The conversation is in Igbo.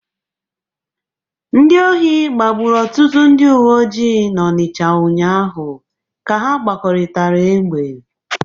Ndị ohi gbagburu ọtụtụ ndị uwe ojii n'Ọnịcha ụnyaahụ ka ha gbọrịtara egbe.